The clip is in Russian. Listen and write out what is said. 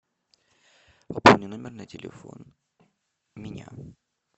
пополни номер на телефон меня